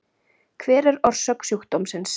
hver er orsök sjúkdómsins